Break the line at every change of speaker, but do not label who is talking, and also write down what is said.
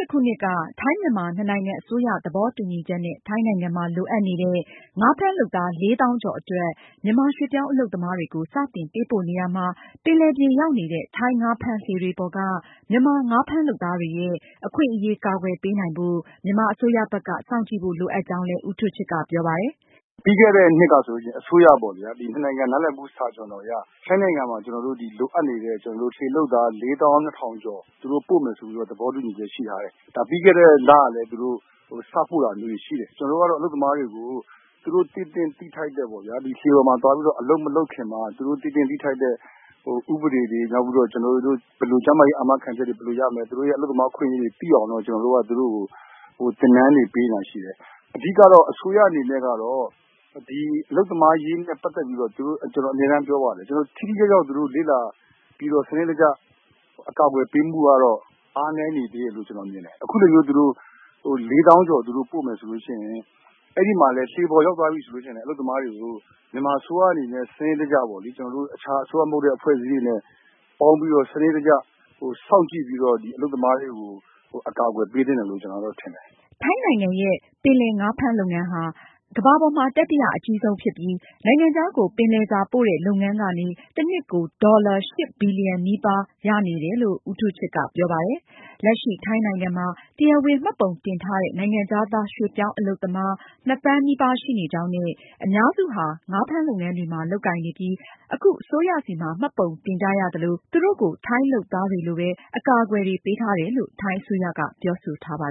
၈ ခုနှစ်က ထိုင်း-မြန်မာ နှစ်နိုင်ငံ အစိုးရသဘောတူညီချက်နဲ့ ထိုင်းနိုင်ငံမှာ လိုအပ်နေတဲ့ ငါးဖမ်းလုပ်သား ၄၀,၀၀၀ ကျော်အတွက် မြန်မာရွှေ့ပြောင်းအလုပ်သမားတွေကို စတင်ပေးပို့နေရာမှာ ပင်လယ်ပြင်ရောက်နေတဲ့ ထိုင်း ငါးဖမ်းလှေတွေပေါ်က မြန်မာငါးဖမ်းလုပ်သားတွေရဲ့ အခွင့်အရေးအကာအကွယ်ပေးနိုင်ဖို့ မြန်မာအစိုးရဘက်က စောင့်ကြည့်ဖို့ လိုအပ်ကြောင်းလည်း ဦး
ထူးချစ်က ပြောပါတယ်။ “ပြီးခဲ့တဲ့ နှစ်ကဆိုရင် အစိုးရပေါ့ဗျာ ၂ နိုင်ငံ နားလည်မှု စာချွန်လွှာအရ ထိုင်းနိုင်ငံမှာ ကျနော်တို့ လိုအပ်နေတဲ့ လှေလုပ်သား လေးသောင်းနှစ်ထောင်ကျော်သူတို့ ပို့မယ်ဆိုပြီးတော့ သဘောတူညီချက်ရှိထားတယ်။ ဒါပြီးခဲ့တဲ့လလည်း သူတို့ စပို့တာမျိုးတွေရှိတယ်။ ကျနော်တို့ကတော့ အလုပ်သမားတွေကို လှေပေါ်မှာသွားပြီးတော့ အလုပ်မလုပ်ခင်မှာသူတို့ သိသင့်သိထိုက်တဲ့ဥပဒေတွေ ၊ နောက်ပြီးတော့ ကျမ်းမာရေး အာမခံချက်တွေ ဘယ်လိုရမလဲ ၊ သူတို့ အလုပ်သမားအခွင့်အရေးတွေ သိအောင် ကျနော်တို့က သင်တန်းတွေ ပေးနေတာတွေရှိတယ်။ အဓိက အစိုးရအနေနဲ့ အလုပ်သမားအရေးနဲ့ ပတ်သက်ပြီးတော့ ကျနော်အမြဲပြောပါတယ် သူတို့ ထိထိရောက်ရောက်လေ့လာပြီးတော့ စနစ်တကျ အကာအကွယ်ပေးဖို့ကတော့ အားနည်းနေသေးတယ်လို့ မြင်တယ်။ အခုလိုမျိုး လေးသောင်းကျော်သူတို့ ပို့မယ်ဆိုရင် အဲဒီမှာလည်း လှေပေါ်ရောက်သွားပြီဆိုရင် အလုပ်သမားတွေကို မြန်မာအစိုးရနဲ့ စနစ်တကျပေါ့လေ အခြားအစိုးရမဟုတ်တဲ့ အဖွဲ့အစည်းတွေနဲ့ ပေါင်းပြီးတော့ စနစ်တကျ စောင့်ကြည့်ပြီးတော့ အလုပ်သမားတွေကို အကာအကွယ်ပေးသင့်တယ်လို့ ကျနော်ထင်တယ်
။” ထိုင်းနိုင်ငံရဲ့ ပင်လယ်ငါးဖမ်းလုပ်ငန်းဟာ ကမ္ဘာပေါ်မှာ တတိယအကြီးဆုံးဖြစ်ပြီး နိုင်ငံခြားကို ပင်လယ်စားပို့လုပ်ငန်းကနေ တနှစ်ကို ဝင်ငွေ အမေရိကန်ဒေါ်လာ ၈ ဘီလီယံနီးပါးရှိနေတယ်လို့ ဦးထူးချစ်က ဆိုပါတယ်။ လက်ရှိ ထိုင်းနိုင်ငံမှာ တရားဝင်မှတ်ပုံတင်ထားတဲ့ နိုင်ငံခြားသား ရွှေ့ပြောင်းအလုပ်သမား နှစ်သန်းနီးပါးရှိနေကြောင်းနဲ့ အများစုဟာ ငါးလုပ်ငန်းတွေမှာ လုပ်ကိုင်နေပြီး အခု အစိုးရဆီမှာ မှတ်ပုံတင်ကြရသလို သူတို့ကို ထိုင်းလုပ်သားတွေလိုပဲ အကာအကွယ်တွေ ပေးထားတယ် လို့ ထိုင်းအစိုးရက ပြောဆိုထားပါ